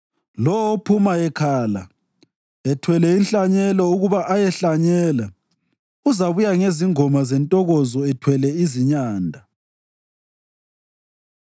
Lowo ophuma ekhala, ethwele inhlanyelo ukuba ayehlanyela uzabuya ngezingoma zentokozo, ethwele izinyanda.